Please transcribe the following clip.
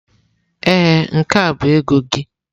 Ee, nke a bụ ego gị.